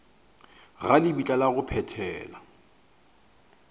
ga lebitla la go phethela